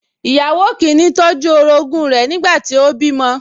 Ìyàwó kìíní tọ́jú orogún rẹ̀ nígbà tí ó bímọ